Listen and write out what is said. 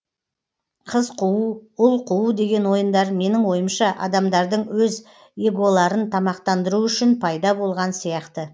қыз қуу ұл қуу деген ойындар менің ойымша адамдардың өз эголарын тамақтандыруы үшін пайда болған сияқты